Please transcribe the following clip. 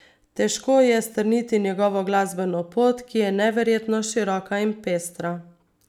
Težko je strniti njegovo glasbeno pot, ki je neverjetno široka in pestra.